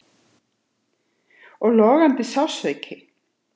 Og logandi sársauki.